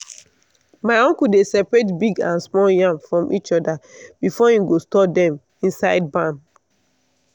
my uncle dey separate big and small yam from each other before him go store dem inside barn.